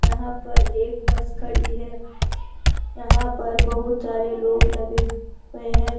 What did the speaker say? यहां पर एक बस खड़ी है यहां पर बहुत सारे लोग लगे हुए हैं।